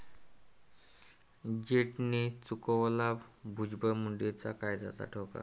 जेट'ने चुकवला भुजबळ, मुंडेच्या काळजाचा ठोका